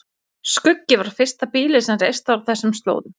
Skuggi var fyrsta býlið sem reist var á þessum slóðum.